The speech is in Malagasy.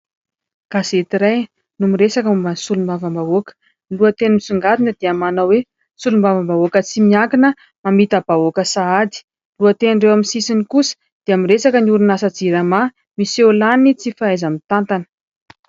Gazety iray, no miresaka momba ny solombavambahoaka. Lohateny misongadina dia manao hoe : solombavambahoaka tsy miankina, mamita-bahoaka sahady. Lohaten'ireo amin'ny sisiny kosa dia miresaka ny orinasa jirama, miseho lany ny tsy fahaiza-mitantana.